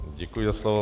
Děkuji za slovo.